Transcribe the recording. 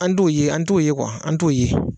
An t'o ye an t'o ye kuwa, an t'o ye.